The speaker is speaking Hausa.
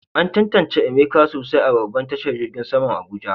An tantance Emeka sosai a babban tashar jirgin saman Abuja.